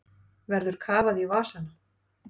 Verður kafað í vasana